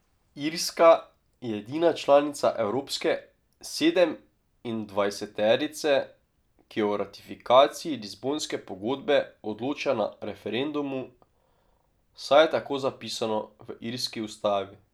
Irska je edina članica evropske sedemindvajseterice, ki o ratifikaciji Lizbonske pogodbe odloča na referendumu, saj je tako zapisano v irski ustavi.